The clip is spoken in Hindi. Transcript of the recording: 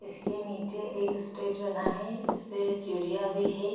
जिसके निचे एक स्टेज बना है जिसपे सीढिया भी है।